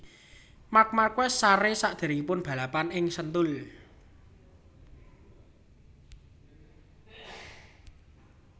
Marc Marquez sare sakderengipun balapan teng Sentul